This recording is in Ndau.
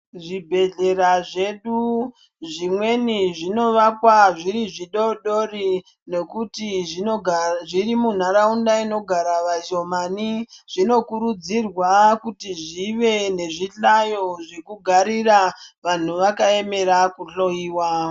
Zvibhehlera zvedu zvimweni zvinovakwa zviri zvidodori nekuti zviri munharaunda inogara vashomani zvinokurudzirwa kuti zvive nezvihlayo zvekugarira vanhu vakaemera kuhloyiwa.